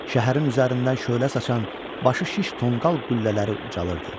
Şəhərin üzərindən şölə saçan başı şiş tonqal qüllələri ucalırdı.